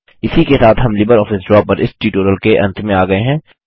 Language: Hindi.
इसी के साथ हम लिबरऑफिस ड्रा पर इस ट्यूटोरियल के अंत में आ गये हैं